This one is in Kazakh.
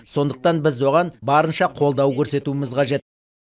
сондықтан біз оған барынша қолдау көрсетуіміз қажет